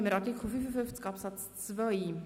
Dann kommen wir zu Artikel 55 Absatz 2.